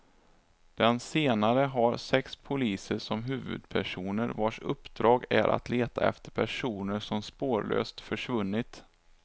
Den senare har sex poliser som huvudpersoner, vars uppdrag är att leta efter personer som spårlöst försvunnit.